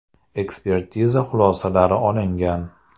Ekspertiza xulosalari olingan.